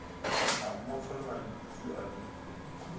a mmofolla diputsi a di